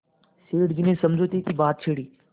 सेठ जी ने समझौते की बात छेड़ी